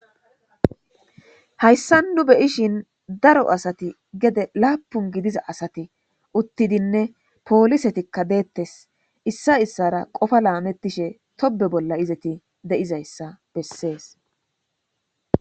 Hayssan nuu beyishin gedde gidida asati uuttidiinne polisetikka dettes issa issara qoopa lasmetishe tobbe bolla isti de'izayssa besses.